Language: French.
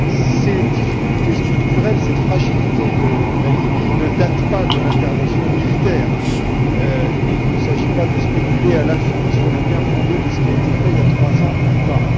Ces difficultés structurelles, cette fragilité de la Libye ne datent pas de l'intervention militaire et il ne s'agit pas de spéculer à l'infini sur le bien fondé de ce qui a été fait, il y a trois ans ou pas.